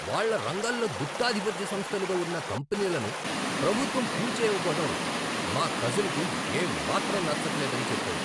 వాళ్ళ రంగాల్లో గుత్తాధిపత్య సంస్థలుగా ఉన్న కంపెనీలను ప్రభుత్వం కూల్చేయకపోవటం మా కజిన్కు ఏమాత్రం నచ్చట్లేదని చెప్పాడు.